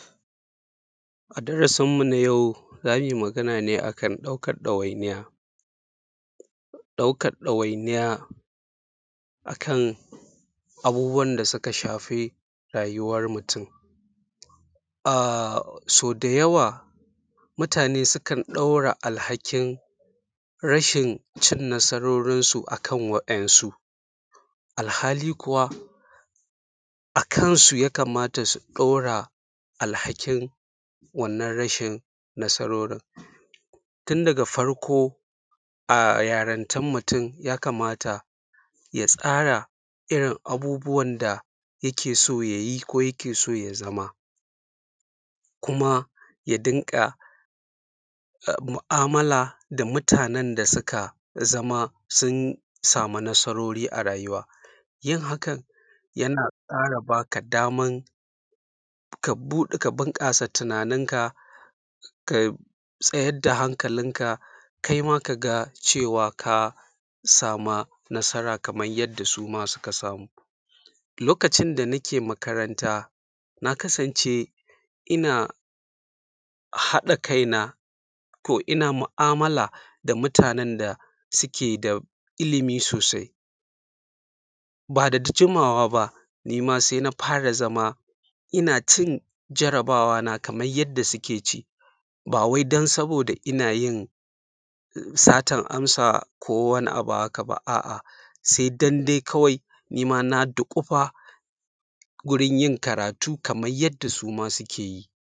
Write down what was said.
A darasin mu na yau, za mu yi magana ne a kan ɗaukan ɗawainiya, ɗaukan ɗawainiya akan abubuwan da suka shafi rayuwan mutum. A so da yawa, mutane sukan ɗaura alhakin rashin cin nasarorinsu a kan wasu, alhali kuwa a kansu yakamata su ɗaura alhakin wannan rashin nasarorin. Tun daga farko, a yarintan mutum, yakamata ya tsara irin abubuwan da yake so ya yi ko yake so ya zama, kuma ya dinga mu’a’mala da mutanen da suka zama sun samu nasarori a rayuwa. Yin hakan yana ƙara baka daman ka bunƙasa tunaninka, ka tsayar da hankalinka, kai ma ka ga cewa ka samu nasara, kaman yadda su ma suka samu. Lokacin da nake makaranta, na kasance ina haɗa kaina, ko ina mu’a’mala da mutanen da suke da ilimi sosai. Ba da jimawa, ba ni ma sai na fara zama ina cin jarabawona, kaman yadda suke ci. Ba wai dan sabida ina yin satan amsa ko wani abu haka, a’a, sai dan dai kawai nima na ɗukufa wurin yin karatu, kaman yadda su ma suke yi.